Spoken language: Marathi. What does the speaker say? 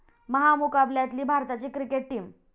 महामुकाबल्यातली भारताची क्रिकेट टीम